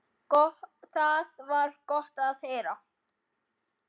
Það var gott að heyra.